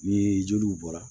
Ni joliw bɔra